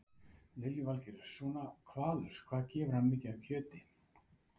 Lillý Valgerður: Svona hvalur, hvað gefur hann mikið af kjöti?